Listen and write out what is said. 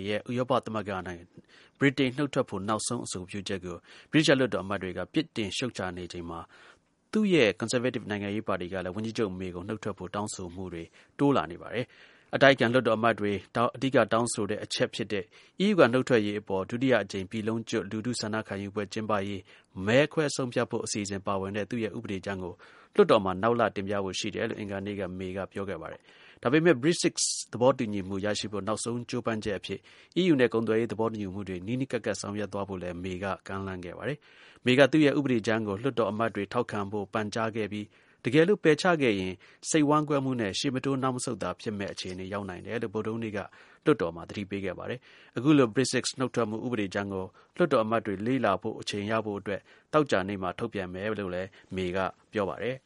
ရဲ့ ဥရောပသမဂ္ဂ ကနေ ဗြိတိန်နုတ်ထွက်ဖို့ နောက်ဆုံး အဆိုပြုချက်ကို ဗြိတိသျှ လွှတ်တော်အမတ်တွေက ပြစ်တင်ရှုတ်ချနေချိန်မှာ သူ့ရဲ့ ကွန်ဆာဗေးတစ် နိုင်ငံရေးပါတီကလည်း ဝန်ကြီးချုပ် May ကို နုတ်ထွက်ဖို့ တောင်းဆိုမှုတွေ တိုးလာနေပါတယ်။ အတိုက်အခံ လွှတ်တော်အမတ်တွေ အဓိကတောင်းဆိုတဲ့ အချက် ဖြစ်တဲ့ EU က နုတ်ထွက်ရေးအပေါ် ဒုတိယအကြိမ် ပြည်လုံးကျွတ် လူထုဆန္ဒခံယူပွဲ ကျင်းပရေး မဲခွဲဆုံးဖြတ်ဖို့ အစီအစဉ်ပါဝင်တဲ့ သူ့ရဲ့ ဥပဒေကြမ်းတရပ်ကို လွှတ်တော်မှာ နောက်လ တင်ပြဖို့ ရှိတယ်လို့ အင်္ဂါနေ့က May က ပြောခဲ့ပါတယ်။ ဒါ့အပြင် Brexit သဘောတူညီမှု ရရှိဖို့ နောက်ဆုံးကြိုးပမ်းချက်အဖြစ် EU နဲ့ ကုန်သွယ်ရေး သဘောတူညီမှုတွေ နီးနီး ကပ်ကပ် ဆောင်ရွက်သွားဖို့လည်း May က ကမ်းလှမ်းခဲ့ပါတယ်။ May က သူ့ရဲ့ ဥပဒေကြမ်းကို လွှွတ်တော်အမတ်တွေ ထောက်ခံဖို့ ပန်ကြားခဲ့ပြီး တကယ်လို့ ပယ်ချခဲ့ရင် စိတ်ဝမ်းကွဲမှုနဲ့ ရှေ့မတိုး နောက်မဆုတ်သာ ဖြစ်မယ့်အခြေ ရောက်နိုင်တယ်လို့ ဗုဒ္ဓဟူးနေ့က လွှတ်တော်မှာ သတိပေးခဲ့ပါတယ်။ အခုလို Brexit နုတ်ထွက်မှု ဥပဒေကြမ်းကို လွှတ်တော်အမတ်တွေ လေ့လာဖို့အချိန် ရဖို့အတွက် သောကြာနေ့မှာ ထုတ်ပြန်မယ်လို့လည်း May က ပြောပါတယ်။